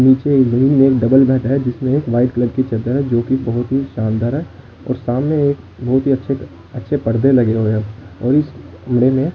नीचे एक एक डबल बेड है जिसमें एक व्हाइट कलर की चद्दर है जो की बहुत ही शानदार है और सामने एक बहुत ही अच्छे अच्छे पर्दे लगे हुए हैं और इस कमरे में--